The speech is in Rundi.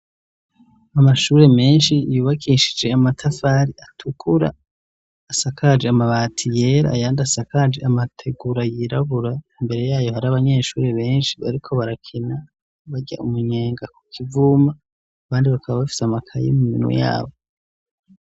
Amashuri menshi yubakishije amatafari atukura asakaje amabati yera ayandi asakaje amategura yirabura imbere yayo hari abanyeshuri benshi ariko barakina barya umunyenga ku kivuma abandi bakaba bafise amakayi mu minwe yabo.